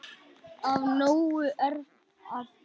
Af nógu er að taka.